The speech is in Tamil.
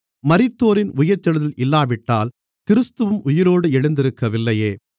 மரித்தோரின் உயிர்த்தெழுதல் இல்லாவிட்டால் கிறிஸ்துவும் உயிரோடு எழுந்திருக்கவில்லையே